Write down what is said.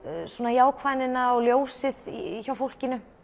jákvæðnina og ljósið hjá fólkinu